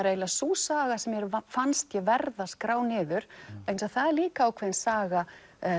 eiginlega sú saga sem mér fannst ég verða að skrá niður vegna þess að það er líka ákveðin saga